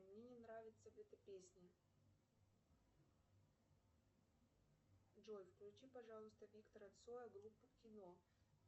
мне не нравится эта песня джой включи пожалуйста виктора цоя группа кино